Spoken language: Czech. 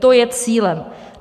To je cílem.